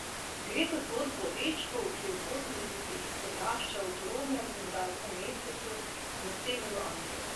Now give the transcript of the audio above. Gre za zgodbo o dečku, ki v osemdesetih odrašča v turobnem rudarskem mestecu na severu Anglije.